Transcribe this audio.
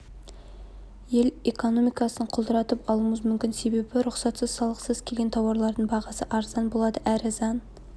ел экономикасын құлдыратып алуымыз мүмкін себебі рұқсатсыз салықсыз келген тауарлардың бағасы арзан болады әрі заң